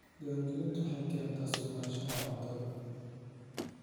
Diiwaangelintu waxay keentaa sugnaanshaha cuntada.